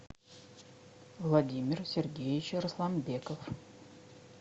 владимир сергеевич расланбеков